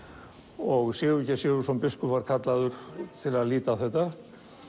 og Sigurgeir Sigurðsson biskup var kallaður til að líta á þetta